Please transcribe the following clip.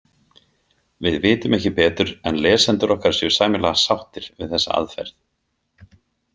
Við vitum ekki betur en lesendur okkar séu sæmilega sáttir við þessa aðferð.